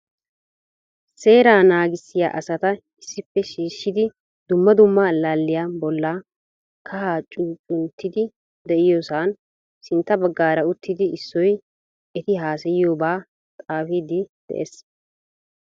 Seeraa naagissiya asata issippe shiishshidi dumma dumma allaaliya bolla kaha cuccunttiidi de'iyoosan sintta baggaara uttidi issoy eti haassayiyooba xaafidi de'ees.